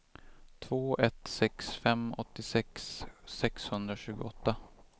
två ett sex fem åttiosex sexhundratjugoåtta